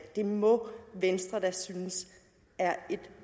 det må venstre da synes er et